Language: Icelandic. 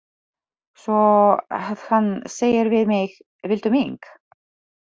Svo að hann segir við mig: Viltu mink?